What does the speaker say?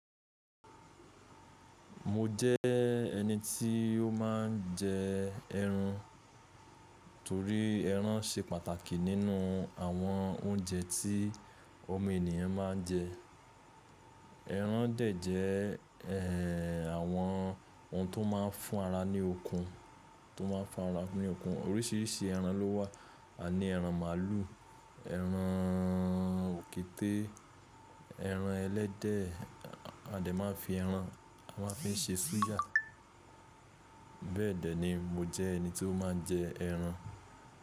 Mo jẹ́ ẹni tí ó máa ń jẹ ẹran, torí ẹran ṣe pàtàkì nínú àwọn oúnjẹ tí ọmọ ènìyàn máa ń jẹ. Ẹran dẹ̀ jẹ́, ẹ́, àwọn ohun tó máa ń fún ara ní okun, tó máa ń fún ara ní okun. Oríṣìíríṣìí ẹran ló wà. A ní ẹran màlúù, ẹran òkété, ẹran ẹlẹ́dẹ̀. A de máa ń fi ẹran, a máa ń fi ṣe súyà. Bẹ́ẹ̀ dẹ̀ ni mo jẹ́ ẹni tí ó máa ń jẹ ẹran.